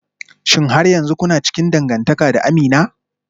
Shin har yanzu kuna cikin dangantaka da Amina?